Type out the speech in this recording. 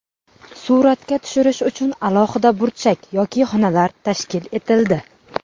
Suratga tushirish uchun alohida burchak yoki xonalar tashkil etildi.